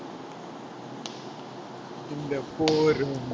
இந்த போரும்,